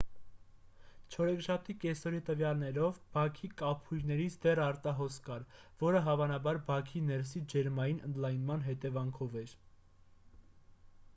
չորեքշաբթի կեսօրի տվյալներով բաքի կափույրներից դեռ արտահոսք կար որը հավանաբար բաքի ներսի ջերմային ընդլայնման հետևանքով էր